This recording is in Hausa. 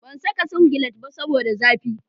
Ban saka singilet ba saboda zafi